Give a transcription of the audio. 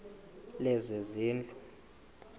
lezezindlu